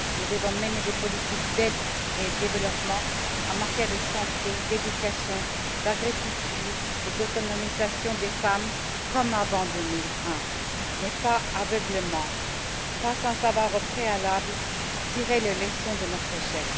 Nous devons mener des politiques d'aide et de développement en matière de santé, d'éducation, d'agriculture et d'autonomisation des femmes, comme avant 2001, mais pas aveuglément, pas sans avoir, au préalable, tiré les leçons de notre échec.